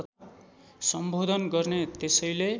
सम्बोधन गर्ने त्यसैले